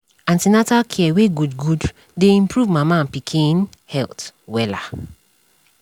an ten atal care wey good good dey improve mama and pikin health wella